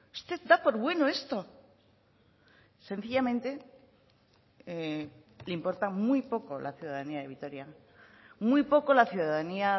usted da por bueno esto sencillamente le importa muy poco la ciudadanía de vitoria muy poco la ciudadanía